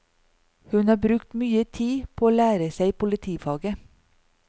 Hun har brukt mye tid på å lære seg politifaget.